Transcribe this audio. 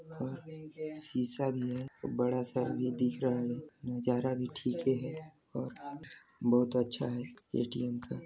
और शीशा भी है बड़ा सा भी दिख रहा है नज़ारा भी ठीक ही है और बहुत अच्छा है ए _टी _एम का -